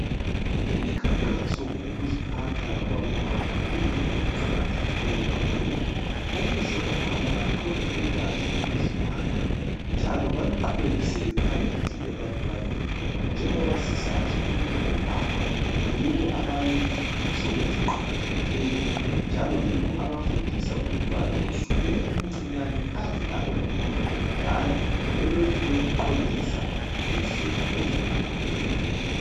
Umkhankaso ngokuziphatha kwabomama kuyinto eqakathekileyo kakhulu, ukuze omama bathole ulwazi ngokuziphatha njalo baluqhubekisele phambili ebantwaneni, njengoba sisazi ukuthi omama yibo abalemfundiso eziqakathekileyo njalo yibo abafundisa umntwana kusukela emncinyane aze abe ngumuntu omdala belokhu bemqondisa ngendlela eziphakemeyo.